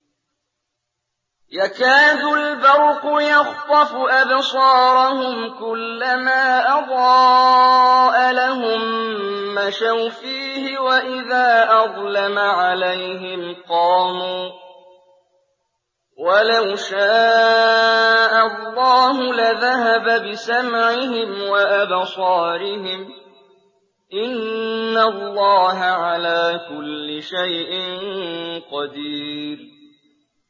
يَكَادُ الْبَرْقُ يَخْطَفُ أَبْصَارَهُمْ ۖ كُلَّمَا أَضَاءَ لَهُم مَّشَوْا فِيهِ وَإِذَا أَظْلَمَ عَلَيْهِمْ قَامُوا ۚ وَلَوْ شَاءَ اللَّهُ لَذَهَبَ بِسَمْعِهِمْ وَأَبْصَارِهِمْ ۚ إِنَّ اللَّهَ عَلَىٰ كُلِّ شَيْءٍ قَدِيرٌ